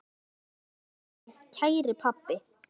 Hvíl í friði, kæri pabbi.